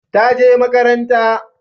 ta je makaranta